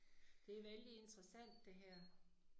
Det er vældig interessant det her